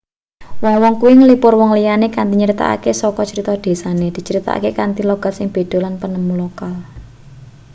wong-wong kuwi nglipur wong liyane kanthi nyritakake crita saka desane dicritakake kanthi logat sing beda lan penemu lokal